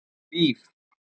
Hlíf